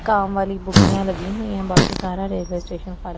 काम वाली बुगियां लगी हुई है बाकी सारा रेलवे स्टेशन खर --